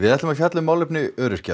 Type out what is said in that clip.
ætlum að fjalla um málefni öryrkja